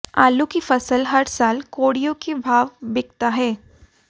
आलू की फसल हर साल कौडि़यों के भाव बिकता हैं